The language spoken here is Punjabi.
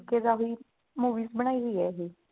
ਤਰੀਕੇ ਦਾ ਵੀ movies ਬਣਾਈ ਹੋਈ ਆ ਇਹ